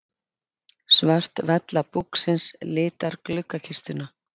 Svört vella búksins litar gluggakistuna.